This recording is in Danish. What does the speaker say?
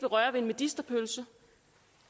røre ved en medisterpølse